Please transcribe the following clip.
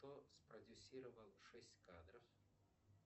кто спродюсировал шесть кадров